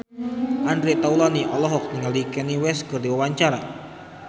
Andre Taulany olohok ningali Kanye West keur diwawancara